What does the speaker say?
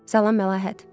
Salam Məlahət.